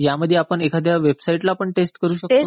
यामध्ये आपण एखाद्या वेबसाईटला पण टेस्ट करू शकतो का?